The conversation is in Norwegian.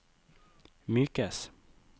mykes